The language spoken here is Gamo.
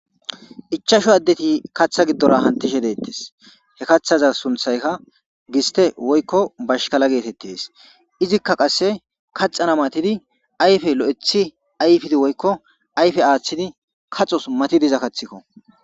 ichasho addeti kaththa giddora hantishe deettes he kaththaza sunthayka giste woykko bashkala geetettees izikka qasse kaxana matidi ayfe lo7ethi ayfidi woykko ayfe aaththidi kaxos matidiza kathikko